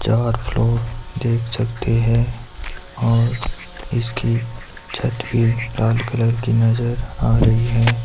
चार फ्लोर देख सकते हैं और इसकी छत भी लाल कलर की नजर आ रही हैं।